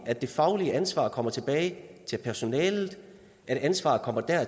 at det faglige ansvar kommer tilbage til personalet at ansvaret kommer